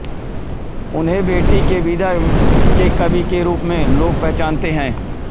उन्हें बेटी के बिदा के कवि के रुप में लोग पहचानते हैं